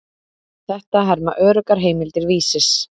Þetta herma öruggar heimildir Vísis.